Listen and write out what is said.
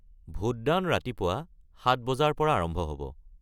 ভোটদান ৰাতিপুৱা ৭ বজাৰ পৰা আৰম্ভ হ’ব।